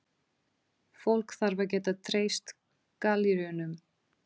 Fólk þarf að geta treyst galleríunum.